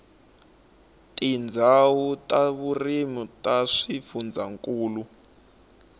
tindzawulo ta vurimi ta swifundzankulu